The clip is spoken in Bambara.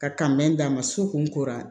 Ka kan bɛ d'a ma so kun kora